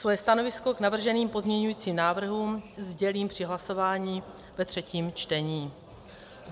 Svoje stanovisko k navrženým pozměňujícím návrhům sdělím při hlasování ve třetím čtení.